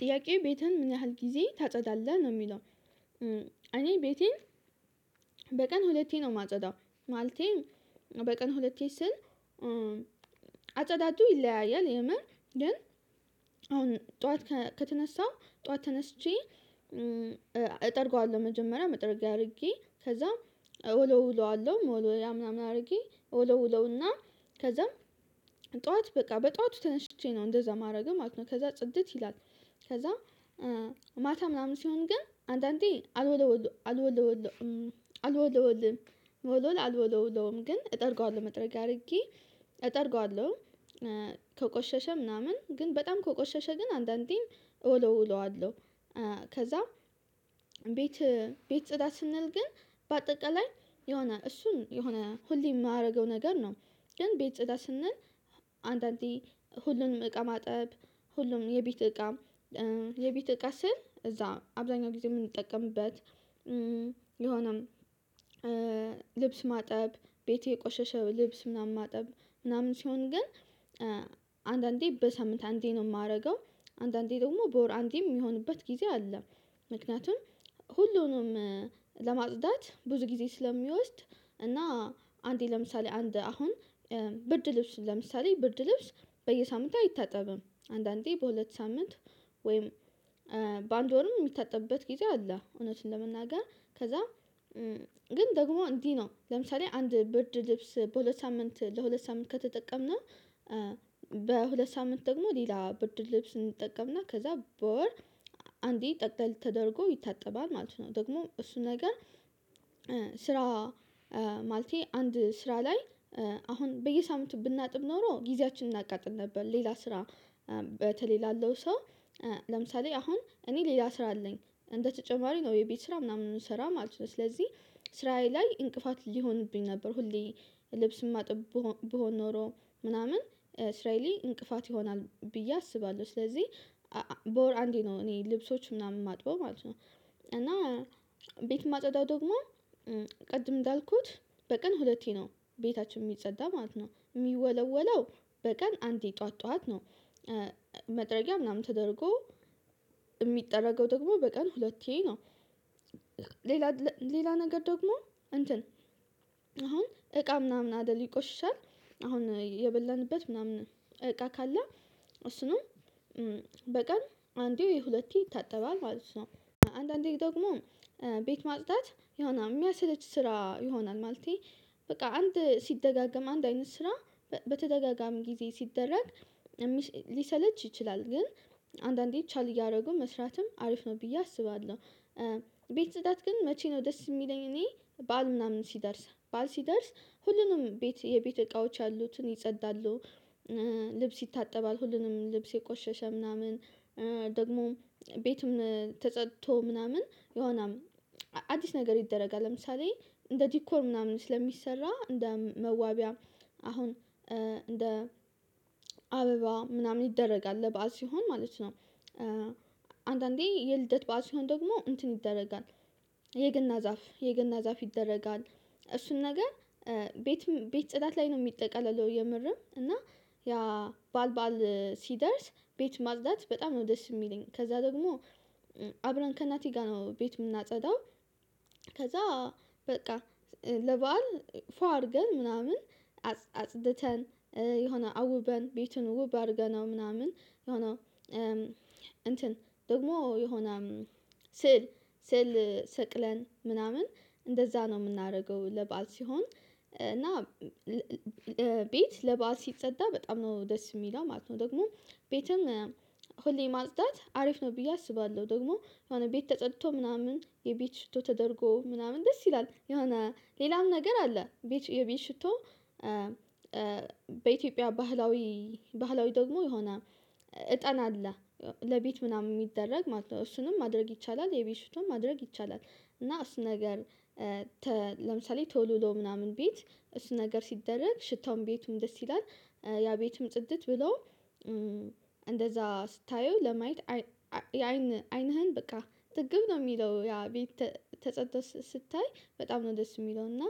ጥያቄው ቤትህን ምን ያህል ጊዜ ታጸዳለህ ነው የሚለው? እኔ ቤቴን በቀን ሁለቴ ነው የማጸዳው ማለቴ በቀን ሁለቴ ስል። አጸዳዱ ይለያያል የምር ግን አሁን ጠዋት ከተነሳው ጠዋት ተነስቼ እጠርገዋለሁ መጀመሪያ መጠረጊያ አድርጌ ከዛም እወለውለዋለሁ መወልወያ ምናምን አርጌ እወለውለውና ከዛም ጠዋት በቃ በጠዋቱ ተነሽቼ ነው እንደዛ ማረግም ማለት ነው ከዛ ጽድት ይላል። ከዛ ማታ ምናምን ሲሆን ግን አንዳንዴ አልወለወል አልወለወልም ብል አልወለወለውም ግን እጠርገዋለሁ መጥረጊያ አርጌ እጠርገዋለሁ። ከቆሸሸ ምናምን ግን በጣም ከቆሸሸ ግን አንዳንዴም እወለውለዋለሁ። ከዛ ቤት ቤት ጽዳት ስንል ግን በአጠቃላይ የሆነ እሱን የሆነ ሁሌ የማደርገው ነገር ነው። ግን ቤት ጸዳታ ስንል አንዳንዴ ሁሉንም እቃ ማጠብ ሁሉም የቤት እቃ የቢት እቃ ስል እዛ አብዛኛው ጊዜ የምንጠቀምበት የሆነም ልብስ ማጠብ ቤቴ የቆሸሸ ልብስ ምናምን ማጠብ ምናምን ሲሆን ግን አንዳንዴ በሳምንት አንዴ ነው የማረገው። አንዳንዴ ደግሞ በወር አንዴም የሚሆንበት ጊዜ አለ። ምክንያቱም ሁሉንም ለማጽዳት ብዙ ጊዜ ስለሚወስድ እና አንዴ ለምሳሌ አንድ አሁን ብርድ ልብስ ለምሳሌ ብርድ ልብስ በየሳምንት አይታጠብም አንዳንዴ በሁለት ሳምንት። ወይም በአንድ ወርም የሚታጠብበት ጊዜ አለ። እውነቱን ለመናገር ከዛ ግን ደግሞ እንዲህ ነው ለምሳሌ አንድ ብርድ ልብስ በሁለት ሳምንት ለሁለት ሳምንት ከተጠቀምን በሁለት ሳምንት ደግሞ ሌላ ብርድ ልብስ እንጠቀምና ከዛ በወር አንዴ ጠቅለል ተደርጎ ይታጠባል ማለት ነው። ደግሞ እሱ ነገር ስራ ማለቴ አንድ ስራ ላይ አሁን በየሳምንቱ ብናጥብ ኖሮ ጊዜያችንን እናቃጥል ነበር። ሌላ ስራ በተለይ ላለው ሰው ለምሳሌ አሁን እኔ ሌላ ስራ አለኝ። እንደተጨማሪ ነው የቤት ስራ ምናምን የምሰራ ማለት ነው። ስለዚህ ስራዬ ላይ እንቅፋት ሊሆንብኝ ነበር። ሁሌ ልብስም እማጥብ ብሆን ኖሮ ምናምን ስራዬ ላይ እንቅፋት ይሆናል ብዬ አስባለሁ ስለዚህ በወር አንዴ ነው እኔ ልብሶች ምናምን የማጥበው ማለት ነው። እና ቤት የማጸዳው ደግሞ ቅድም እንዳልኩት በቀን ሁለቴ ነው ቤታችን የሚጸዳ ማለት ነው የሚወለወለው በቀን አንዴ ጠዋት ጠዋት ነው። መጥረጊያ ምናምን ተደርጎ እሚጠረገው ደግሞ በቀን ሁለቴ ነው። ሌላ ሌላ ነገር ደግሞ እንትን አሁን እቃ ምናምን አደል ይቆሽሻል አሁን የበላንበት ምናምን እቃ ካለ እሱንም በቀን አንዴ ወይ ሁለቴ ይታጠባል። አንዳንዴ ደግሞ ቤት ማጽዳት የሆነ የሚያስለች ስራ ይሆናል ማለቴ በቃ አንድ ሲደጋገም አንድ አይነት ስራ በተደጋጋሚ ጊዜ ሲደረግ ሊሰለች ይችላል ግን አንዳንዴ ቻል እያረግን መስራትም አሪፍ ነው ብዬ አስባለሁ። ቤት ጽዳት ግን መቼ ነው ደስ የሚለኝ እኔ? ባዓል ምናምን ሲደርስ ባዓል ሲደርስ ሁሉንም ቤት የቤት እቃዎች ያሉትን ይጸዳሉ። ልብስ ይታጠባል ሁሉንም ልብስ የቆሸሸ ምናምን ደግሞ ቤትም ተጸድቶ ምናምን የሆነ አዲስ ነገር ይደረጋል ለምሳሌ እንደ ዲኮር ምናምን ስለሚሰራ እንደ መዋቢያም አሁን እንደ አበባ ምናምን ይደረጋል ለበአል ሲሆን ማለት ነው። አንዳንዴ የልደት ባዓል ሲሆን ደግሞ እንትን ይደረጋል። የገና ዛፍ የገና ዛፍ ይደረጋል። እሱን ነገር ቤት ቤት ጽዳት ላይ ነው የሚጠቀለለው። የምርም እና ያ ባዓል ባዓል ሲደርስ ቤት ማጽዳት በጣም ነው ደስ የሚለኝ ከዛ ደግሞ አብረን ከእናቴ ጋር ነው ቤት የምናጸዳው። ከዛ በቃ ለበአል ፏ አርገን ምናምን አጽድተን የሆነ አውበን ቤቱን ውብ አርገነው ምናምን የሆነው እንትን ደግሞ የሆነ ስዕል ስዕል ሰቅለን ምናምን እንደዛ ነው የምናደርገው። ለባአል ሲሆን እና ቤት ለባአል ሲጸዳ በጣም ነው ደስ የሚለው ማለት ነው። ደግሞ ቤትም ሁሌ ማጽዳት አሪፍ ነው ብዬ አስባለሁ። ደግሞ የሆነ ቤት ተጸድቶ ምናምን የቤት ሽቶ ተደርጎ ምናምን ደስ ይላል የሆነ ሌላም ነገር አለ። የቤት ሽቶ በኢትዮጵያ ባህላዊ ባህላዊ ደግሞ የሆነ እጣን አለ። ለቤት ምናምን የሚደረግ ማለት ነው። እሱንም ማድረግ ይቻላል የበፊቱን ማድረግ ይቻላል። እና እሱ ነገር ለምሳሌ ቶሎዶ ምናምን ቤት እሱ ነገር ሲደረግ ሽታውም ቤቱም ደስ ይላል። ያ ቤትም ጽድት ብሎ እንደዛ ስታየው ለማየት አይን አይንህን በቃ ጥግብ ነው የሚለው። ያ ቤት ተጸድቶ ስታይ በጣም ነው ደስ የሚለው። እና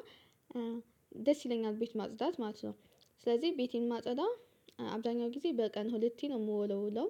ደስ ይለኛል ቤት ማጽዳት ማለት ነው። ስለዚህ ቤቴን እማጸዳው አብዛኛው ጊዜ በቀን ሁለቴ ነው የምወለውለው።